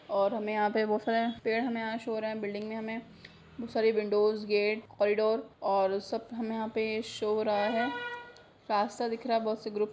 और हमें यहाँ पे बहोत सारे पेड़ हमें यहाँ शो हो रहे हैं। बिल्डिंग में हमें बहोत सारी विंडोस गेट कॉरीडोर और सब हमें यहाँ पे शो हो रहा है। रास्ता दिख रहा है। बहोत से ग्रुप --